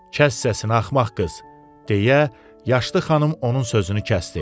Kəs səsini axmaq qız, deyə yaşlı xanım onun sözünü kəsdi.